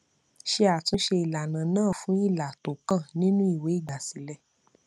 ṣé àtúnṣe ìlànà náà fún ilà tó kàn nínú ìwé ìgbàsílẹ